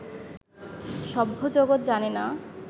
সভ্য জগৎ জানে না